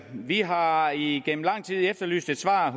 vi har har igennem lang tid efterlyst et svar